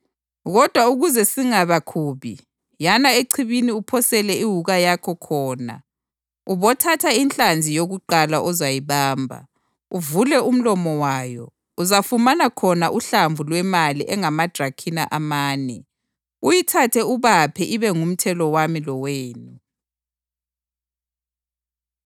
Kodwa ukuze singabakhubi, yana echibini uphosele iwuka yakho khona. Ubothatha inhlanzi yokuqala ozayibamba, uvule umlomo wayo uzafumana khona uhlamvu lwemali engamadrakhima amane. Uyithathe ubaphe ibe ngumthelo wami lowenu.”